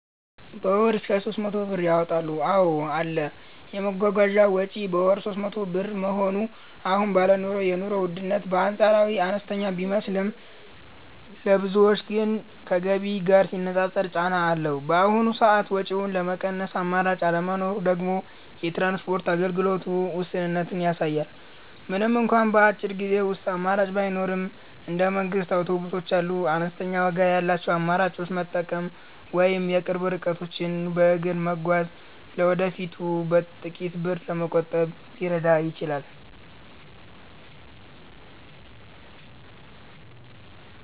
በ ወር እስከ 300 ብር ያወጣሉ ,አዎ አለ, የመጓጓዣ ወጪ በወር 300 ብር መሆኑ አሁን ባለው የኑሮ ውድነት በአንፃራዊነት አነስተኛ ቢመስልም፣ ለብዙዎች ግን ከገቢ ጋር ሲነፃፀር ጫና አለው። በአሁኑ ሰዓት ወጪውን ለመቀነስ አማራጭ አለመኖሩ ደግሞ የትራንስፖርት አገልግሎቱ ውስንነትን ያሳያል። ምንም እንኳን በአጭር ጊዜ ውስጥ አማራጭ ባይኖርም፣ እንደ መንግስት አውቶቡሶች ያሉ አነስተኛ ዋጋ ያላቸውን አማራጮች መጠበቅ ወይም የቅርብ ርቀቶችን በእግር መጓዝ ለወደፊቱ ጥቂት ብር ለመቆጠብ ሊረዳ ይችላል።